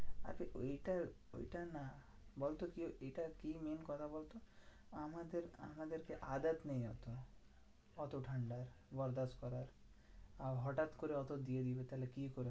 আরে এইটা ওইটা না বলতো কি এইটা কি main কথা বলতো? আমাদের~ আমাদেরকে নেই এত। এত ঠান্ডা বল হটাৎ করে অত দিয়ে দিলো তাহলে কি করবি?